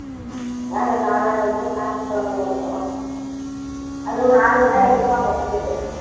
அதனால இப்ப ஞாயிற்றுக்கிழமை ஏறப்போற அதுவும் நாளைக்கு தான் எடுப்பாங்க ticket